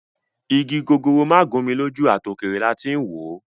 Igi gogoro má gún mi lójú ,àtòkèrè làá ti ń wòó.